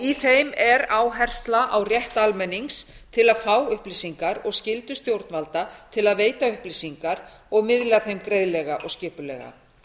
í þeim er áhersla á rétt almennings til að fá upplýsingar og skyldu stjórnvalda til að veita upplýsingar og miðla þeim greiðlega og skipulega